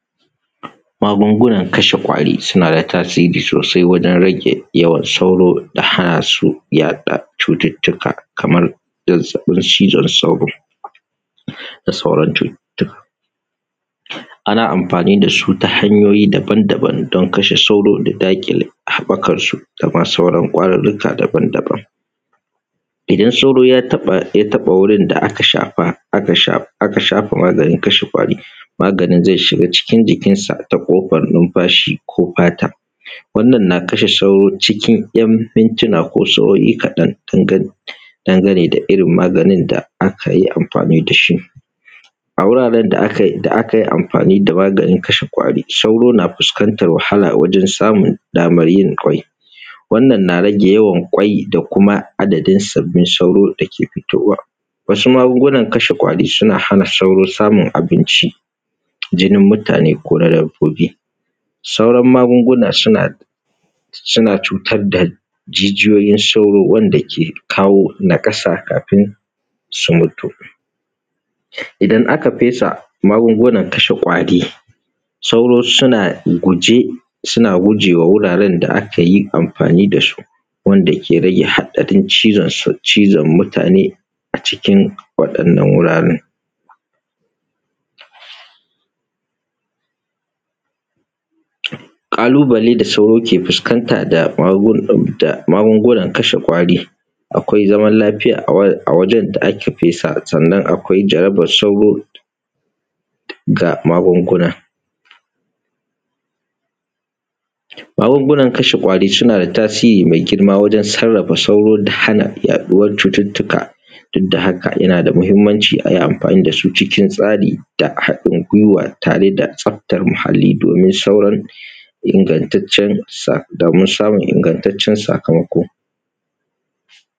magungunan kashe ƙwari suna da tasiri sosai wajen rage yawan sauro da hana su yaɗa cututtuka kamar su zazzaɓin cizon sauro da sauran cututtuka ana amfani dasu ta hanyoyi daban-daban don kashe sauro da daƙile haɓɓakar su da ma sauran ƙwarurruka daban-daban idan sauro ya taɓa ya taɓa wurin da aka shafa aka shafa maganin kashe ƙwarin maganin zai shiga cikin jikin su ta ƙofar numfashi ko fata wannan na kashe sauro cikin ‘yan mintuna ko sa’o’i kaɗan dangane da irin maganin da aka yi amfani dashi a wuraren da akayi amfani da maganin kashe ƙwari sauro na fuskantar wahala a wajen samun daman yi kwai wannan na rage yawan kwai da kuma adadin sabbin sauro da ke fitowa wasu magungunan kashe ƙwari suna hana sauro samun abinci jinin mutane ko na dabbobi sauran magunguna suna cutar da jijiyoyin sauro wanda ke kawo nakasa kafin su mutu idan aka fesa magungunan kashe ƙwari sauro suna hukunce suna gujewa guraren da akayi amfani dasu wanda ke rage haɗarin cizon mutane a cikin waɗannan guraren ƙalubale da sauro ke fuskanta da magungunan kashe ƙwari akwai zaman lafiya a wajen da aka fesa sannan akwai jarabar sauro da magunguna magungunan magungunan kashe ƙwari suna da tasiri mai girma wajen sarrafa sauro da hana yaɗuwar cututtuka duk da haka yana da muhimmanci ayi amfani da su cikin tsari da haɗin gwiwa tare da tsaftar muhalli domin samun ingantaccen sakamako